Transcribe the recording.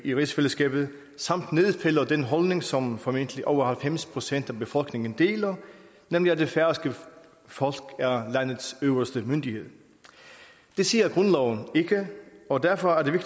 i rigsfællesskabet samt nedfælder den holdning som formentlig over halvfems procent af befolkningen deler nemlig at det færøske folk er landets øverste myndighed det siger grundloven ikke og derfor er det